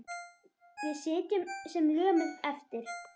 Við sitjum sem lömuð eftir.